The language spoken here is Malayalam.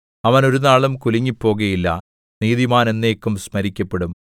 അവൻ ഒരുനാളും കുലുങ്ങിപ്പോകുകയില്ല നീതിമാൻ എന്നേക്കും സ്മരിക്കപ്പെടും